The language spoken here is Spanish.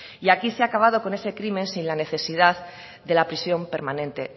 y aquí se ha acabado con ese crimen sin la necesidad de la prisión permanente